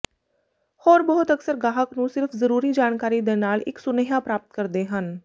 ਹੋਰ ਬਹੁਤ ਅਕਸਰ ਗਾਹਕ ਨੂੰ ਸਿਰਫ਼ ਜ਼ਰੂਰੀ ਜਾਣਕਾਰੀ ਦੇ ਨਾਲ ਇੱਕ ਸੁਨੇਹਾ ਪ੍ਰਾਪਤ ਕਰਦੇ ਹਨ